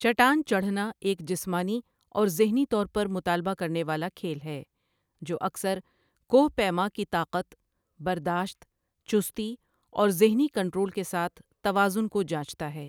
چٹان چڑھنا ایک جسمانی اور ذہنی طور پر مطالبہ کرنے والا کھیل ہے، جو اکثر کوہ پیما کی طاقت، برداشت، چستی اور ذہنی کنٹرول کے ساتھ توازن کو جانچتا ہے۔